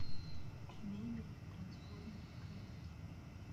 мебель трансформер кровать